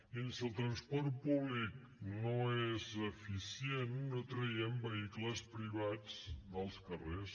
mirin si el transport públic no és eficient no traiem vehicles privats dels carrers